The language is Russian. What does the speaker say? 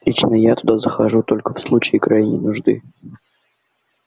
лично я туда захожу только в случае крайней нужды